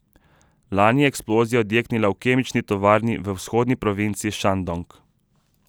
Lani je eksplozija odjeknila v kemični tovarni v vzhodni provinci Šandong.